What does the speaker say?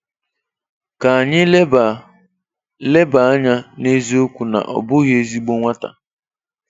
Ka anyị leba leba anya n'eziokwu na ọ bụghị ezigbo nwata.